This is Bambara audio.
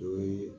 O ye